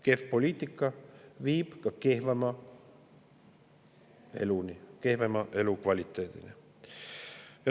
Kehv poliitika viib ka kehvema eluni, kehvema elukvaliteedini.